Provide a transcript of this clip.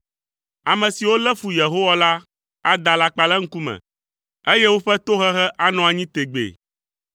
Ame siwo lé fu Yehowa la ada alakpa le eŋkume, eye woƒe tohehe anɔ anyi tegbee.